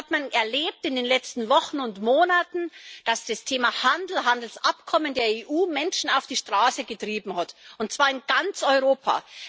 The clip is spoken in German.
Man hat das in den letzten Wochen und Monaten erlebt, dass das Thema Handel, Handelsabkommen der EU Menschen auf die Straße getrieben hat, und zwar in ganz Europa.